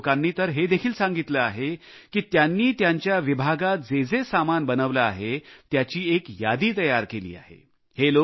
बऱ्याच लोकांनी तर हे देखील सांगितले आहे की त्यांनी त्यांच्या विभागात जेजे सामान बनविले आहे त्याची एक यादी तयार केली आहे